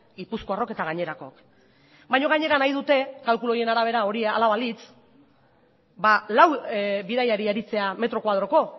gipuzkoarrok eta gainerakook baina gainera nahi dute kalkuluen arabera hala balitz lau bidaiari aritzea metro koadroko